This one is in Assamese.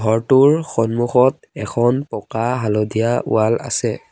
ঘৰটোৰ সন্মুখত এখন পকা হালধীয়া ৱাল আছে।